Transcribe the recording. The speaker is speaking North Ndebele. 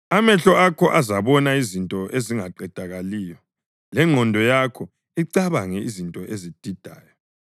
Amehlo akho azabona izinto ezingaqedakaliyo lengqondo yakho icabange izinto ezididayo.